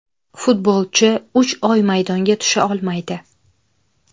Futbolchi uch oy maydonga tusha olmaydi .